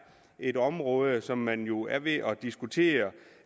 et område som man jo er ved at diskutere